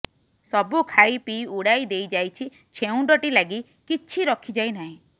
ସବୁ ଖାଇ ପିଇ ଉଡ଼ାଇ ଦେଇଯାଇଛି ଛେଉଣ୍ଡଟି ଲାଗି କିଛି ରଖିଯାଇ ନାହିଁ